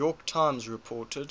york times reported